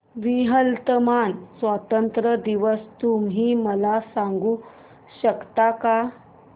Vietnam स्वतंत्रता दिवस तुम्ही मला सांगू शकता का